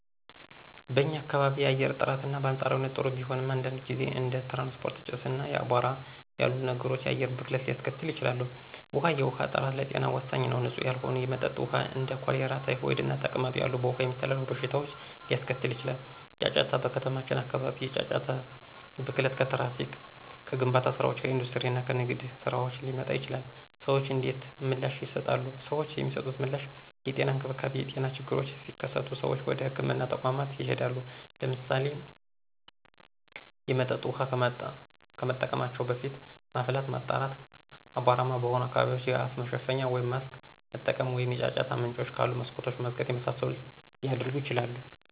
*በኛ ካባቢ የአየር ጥራት: በአንፃራዊነት ጥሩ ቢሆንም፣ አንዳንድ ጊዜ እንደ ትራንስፖርት ጭስ፣ እና አቧራ ያሉ ነገሮች የአየር ብክለትን ሊያስከትሉ ይችላሉ። ውሀ፦ የውሃ ጥራት ለጤና ወሳኝ ነው። ንፁህ ያልሆነ የመጠጥ ውሃ እንደ ኮሌራ፣ ታይፎይድ እና ተቅማጥ ያሉ በውሃ የሚተላለፉ በሽታዎችን ሊያስከትል ይችላል። * ጫጫታ: በከተሞች አካባቢ የጫጫታ ብክለት ከትራፊክ፣ ከግንባታ ስራዎች፣ ከኢንዱስትሪ እና ከንግድ ስራዎች ሊመጣ ይችላል። ሰዎች እንዴት ምላሽ ይሰጣሉ? ሰዎች የሚሰጡት ምላሽ * የጤና እንክብካቤ : የጤና ችግሮች ሲከሰቱ ሰዎች ወደ ህክምና ተቋማት ይሄዳሉ። *ለምሳሌ፣ የመጠጥ ውሃ ከመጠቀማቸው በፊት ማፍላት፣ ማጣራት፣ አቧራማ በሆኑ አካባቢዎች የአፍ መሸፈኛ (ማስክ) መጠቀም፣ ወይም የጫጫታ ምንጮች ካሉ መስኮቶችን መዝጋት የመሳሰሉትን ሊያደርጉ ይችላሉ።